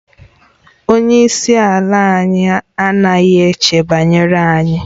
Onye isi ala anyị anaghị eche banyere anyị